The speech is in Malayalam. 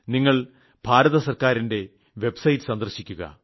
നിങ്ങൾ ഭാരത സർക്കാറിന്റെ വെബ്സൈറ്റ് സന്ദർശിക്കുക